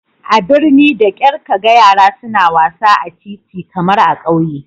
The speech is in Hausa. A birni da kyar ka ga yara suna wasa a titi kamar a ƙauye